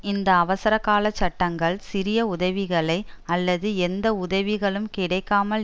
இந்த அவசரகால சட்டங்கள் சிறிய உதவிகளை அல்லது எந்த உதவிகளும் கிடைக்காமல்